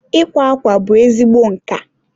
ịkwa akwa bụ ezigbo nka.